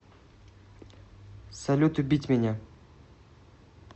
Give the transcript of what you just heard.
салют убить меня